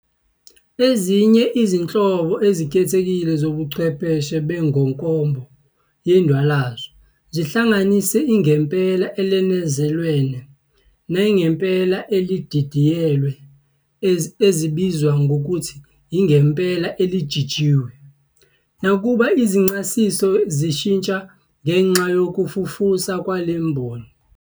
Ezinye izinhlobo ezikhethekile zobuchwepheshe benkobo yendwalazo zihlanganisa ingempela elenezelwe, nengempela elididiyelwe ezibizwa ngokuthi ingempela elijijiwe, nakuba izincasiselo zishintsha ngenxa yokufufusa kwale mboni.